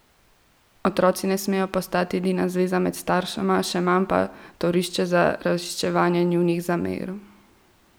Otroci ne smejo postati edina zveza med staršema, še manj pa torišče za razčiščevanje njunih zamer!